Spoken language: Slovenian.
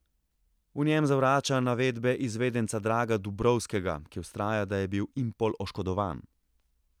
V njem zavrača navedbe izvedenca Draga Dubrovskega, ki vztraja, da je bil Impol oškodovan.